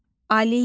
Aliyə.